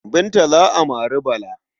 Binta za a mari Bala.